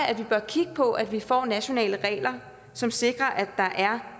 at vi bør kigge på at vi får nationale regler som sikrer at der er